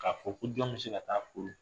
K'a fɔ ko jɔn bɛ se ka ta'a furu